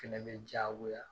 Fɛnɛ be jagoya